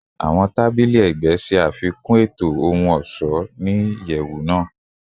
Awọn tabili ẹgbẹ ṣe afikun eto ohun-ọṣọ ni iyẹwu naa